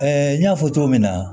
n y'a fɔ cogo min na